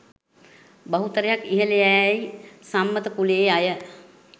බහුතරයක් ඉහල යැයි සම්මත කුලයේ අය.